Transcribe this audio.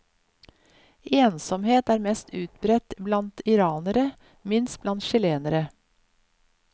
Ensomhet er mest utbredt blant iranere, minst blant chilenere.